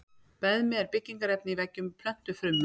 Beðmi er byggingarefni í veggjum plöntufruma.